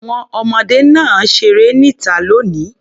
Àwọn ọmọdé náà á ṣeré níta lónìí.